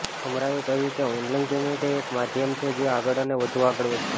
અમરાએ કહ્યું કે ઓનલાઇન પેમેન્ટએ એક માધ્યમ છે જે આગળ અને વધુ આગળ વધશે